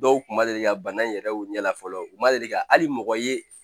Dɔw kun ma deli ka bana in yɛrɛ ɲɛ la fɔlɔ u ma deli ka hali mɔgɔ ye